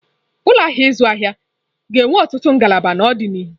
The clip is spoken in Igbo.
Ụlọ ahịa ịzụ ahịa ga-enwe ọtụtụ ngalaba n'ọdịnihu.